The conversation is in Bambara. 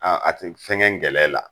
Aa a tɛ fɛn kɛ ngɛlɛ la.